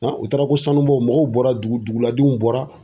u taara ko sanubɔ mɔgɔw bɔra dugu dugu ladenw bɔra.